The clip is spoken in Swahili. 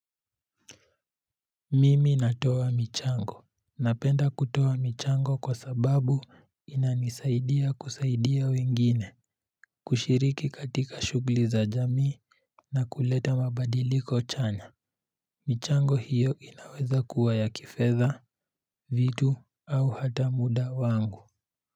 Mimi natoa michango. Napenda kutoa michango kwa sababu inanisaidia kusaidia wengine. Kushiriki katika shugli za jamii na kuleta mabadiliko chanya. Michango hiyo inaweza kuwa ya kifedha, vitu, au hata muda wangu.